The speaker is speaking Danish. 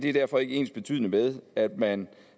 er derfor ikke ensbetydende med at man